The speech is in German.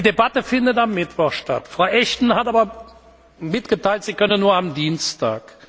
Die Debatte findet am Mittwoch statt. Frau Ashton hat aber mitgeteilt, sie könne nur am Dienstag.